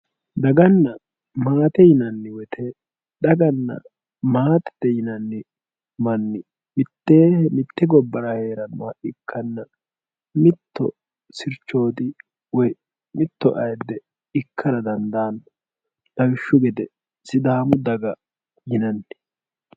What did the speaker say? daganna maate yinanni wote daganna maatete yinanni manni mitteenni mitte gobbara heerannoha ikkanna mitto sircho woyi mitto ayiidde ikkara dandaanno lawishshu gede sidaamu daga yinanni.